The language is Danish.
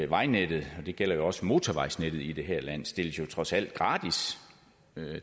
vejnettet og det gælder jo også motorvejsnettet i det her land stilles jo trods alt gratis